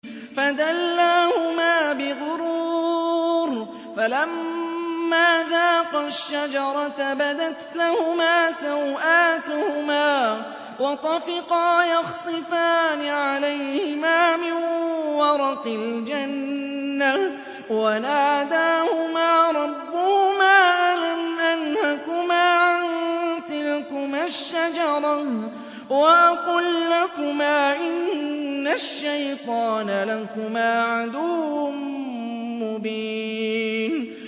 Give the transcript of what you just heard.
فَدَلَّاهُمَا بِغُرُورٍ ۚ فَلَمَّا ذَاقَا الشَّجَرَةَ بَدَتْ لَهُمَا سَوْآتُهُمَا وَطَفِقَا يَخْصِفَانِ عَلَيْهِمَا مِن وَرَقِ الْجَنَّةِ ۖ وَنَادَاهُمَا رَبُّهُمَا أَلَمْ أَنْهَكُمَا عَن تِلْكُمَا الشَّجَرَةِ وَأَقُل لَّكُمَا إِنَّ الشَّيْطَانَ لَكُمَا عَدُوٌّ مُّبِينٌ